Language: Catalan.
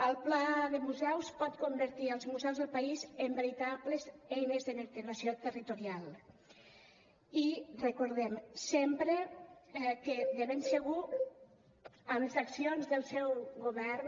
el pla de museus pot convertir els museus del país en veritables eines de vertebració territorial i recordem sempre que de ben segur amb les accions del seu govern